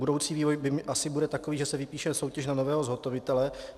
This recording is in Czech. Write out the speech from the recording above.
Budoucí vývoj asi bude takový, že se vypíše soutěž na nového zhotovitele.